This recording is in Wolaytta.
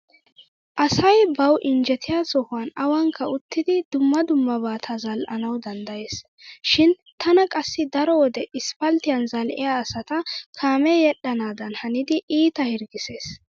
Asay bawu injjetiya sohuwan awaanikka uttidi dumma dummabata zal"anawu danddayees. Shin tana qassi daro wode isppalttiyan zal"iya asata kaamee yedhdhanaadan hanidi iita hirggissees.